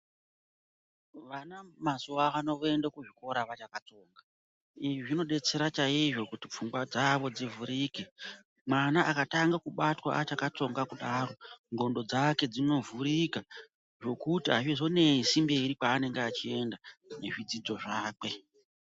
Vana mazuwaano voende kuzvikora vachakatsonga izvi zvinodetsere chaizvo kuti pfungwa dzavo dzivhurike mwana akatanga kubatwa achakatsonga kudaro ndxondo dzake dzinovhurika zvekuti azvizonesi mberi kwaanenge achienda nezvidzidzo zvake.